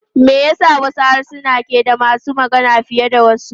Me yasa wasu harsuna ke da masu magana fiye da wasu?